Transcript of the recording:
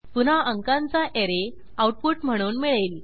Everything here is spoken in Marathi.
पुन्हा अंकांचा ऍरे आऊटपुट म्हणून मिळेल